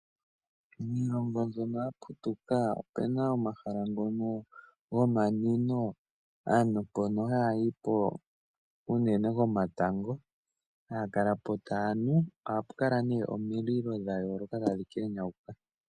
Miilongo mbyono ya putuka opu na omahala ngono gomanwino, aantu mpono haya yi po unene komatango. Haya kala po taya nu, ohapu kala nduno omililo dha yoolokathana tadhi kenyauka.